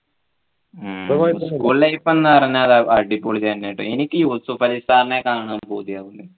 ഉം school life ന്നു പറഞ്ഞാല് അടിപൊളി തന്നേറ്റോ എനിക്ക് നെക്കാണാൻ പൂതിയാവുന്നു